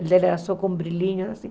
O dela era só com brilhinho, assim.